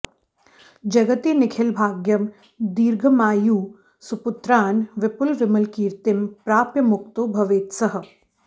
जगति निखिलभाग्यं दीर्घमायुः सुपुत्रान् विपुलविमलकीर्तिं प्राप्य मुक्तो भवेत्सः